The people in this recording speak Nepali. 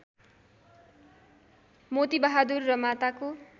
मोतिबहादुर र माताको